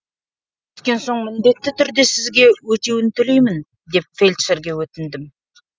өскен соң міндетті түрде сізге өтеуін төлеймін деп мен фельдшерге өтіндім